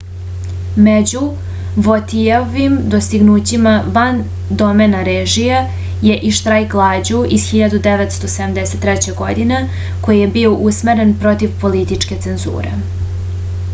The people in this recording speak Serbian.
među votijeovim dostignućima van domena režije je i štrajk glađu iz 1973. godine koji je bio usmeren protiv političke cenzure